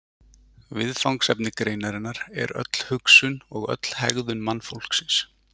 viðfangsefni greinarinnar er öll hugsun og öll hegðun mannfólksins